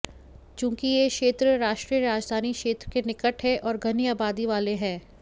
चूंकि ये क्षेत्र राष्ट्रीय राजधानी क्षेत्र के निकट है और घनी आबादी वाले हैं